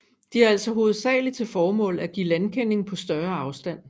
De har altså hovedsaglig til formål at give landkending på større afstand